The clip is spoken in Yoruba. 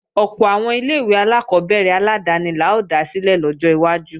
Ọ̀pọ̀ àwọn ilé-ìwé alákọ́bẹ̀rẹ̀ aládáni la ó dá sílẹ̀ lọ́jọ́ iwájú